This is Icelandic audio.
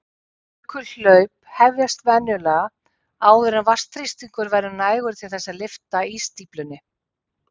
Jökulhlaup hefjast venjulega áður en vatnsþrýstingur verður nægur til þess að lyfta ísstíflunni.